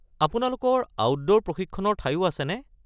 আপোনালোকৰ আউটডোৰ প্ৰশিক্ষণৰ ঠাইও আছেনে?